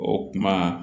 O kuma